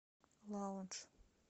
лаундж